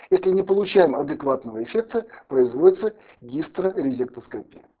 если не получаем адекватного эффекта производится гистраэрнестоскапия